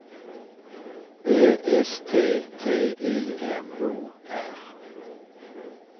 Ö S T T I M O R